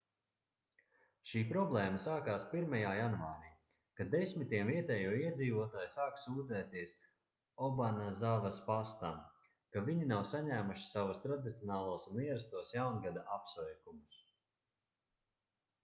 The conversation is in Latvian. šī problēma sākās 1. janvārī kad desmitiem vietējo iedzīvotāju sāka sūdzēties obanazavas pastam ka viņi nav saņēmuši savus tradicionālos un ierastos jaungada apsveikumus